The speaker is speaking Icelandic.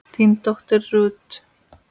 þín dóttir Ruth.